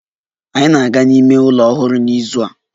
Anyị na-aga n'ime ụlọ ọhụrụ n'izu a